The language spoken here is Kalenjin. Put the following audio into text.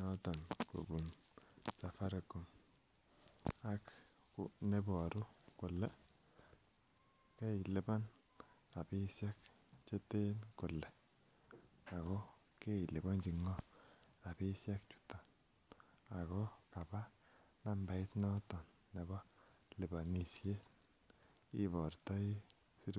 noton kobun Safaricom ak neboru kole keilipan rapisiek cheten kole ako keiliponji ng'oo rapisiek chuton ako kaba nambait noton nebo liponisiet ibortoi sirutyet